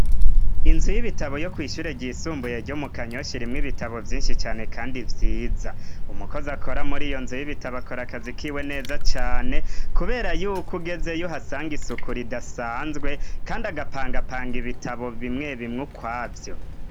Inzu y'ibitabo yo kwishure ryisumbuye ryo mu Kanyosha irimw' ibitabo vyinshi cane kandi vyiza ,umukozi akora muri iyo nzu y'ibitabo akor' akazi kiwe neza cane kubera yuko ugezey'uhasanga isuku ridasanzwe kandi agapangapanga ibitabo bimwe bimw' ukwavyo.